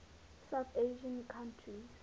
south asian countries